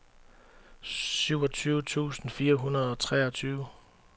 syvogtyve tusind fire hundrede og treogtyve